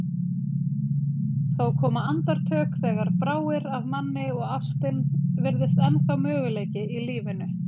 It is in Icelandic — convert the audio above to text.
Þó koma andartök þegar bráir af manni og ástin virðist ennþá möguleiki í lífinu.